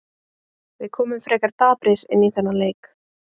Við komum frekar daprir inn í þennan leik.